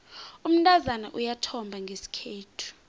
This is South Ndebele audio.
umntazana uyathomba ngesikhethu